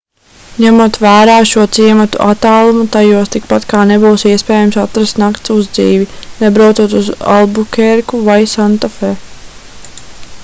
ņemot vērā šo ciematu attālumu tajos tikpat kā nebūs iespējams atrast nakts uzdzīvi nebraucot uz albukērku vai santafe